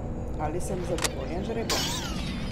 Ali sem zadovoljen z žrebom?